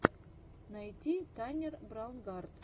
найти таннер браунгарт